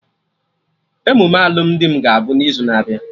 Emume alụmdi m ga abụ n'izu na-abịa